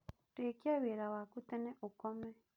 Rĩkia wĩra waku tene ũkome